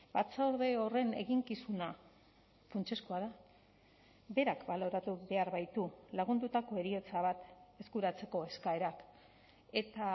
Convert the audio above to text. batzorde horren eginkizuna funtsezkoa da berak baloratu behar baitu lagundutako heriotza bat eskuratzeko eskaerak eta